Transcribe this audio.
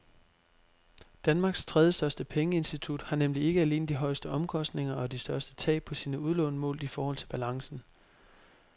Danmarks tredjestørste pengeinstitut har nemlig ikke alene de højeste omkostninger og de største tab på sine udlån målt i forhold til balancen.